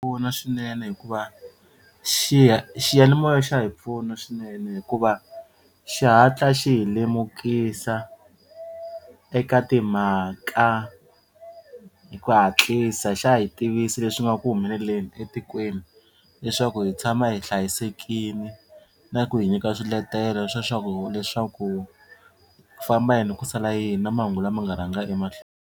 Pfuna swinene hikuva xiyanimoya xa hi pfuna swinene hikuva xihatla xi hi lemukisa eka timhaka hi ku hatlisa xa hi tivisa leswi nga ku humeleleni etikweni leswaku hi tshama hi hlayisekini na ku hi nyika swiletelo leswaku ku famba yini ku sala yini na mahungu lama nga rhanga .